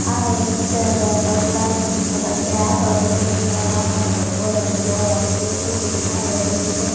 આ એક બગલાનુ ચિત્ર છે આ બગલે એક તળાવમાં ઉભો રહેલો હોય તેવુ દેખાઈ રહેલુ છે.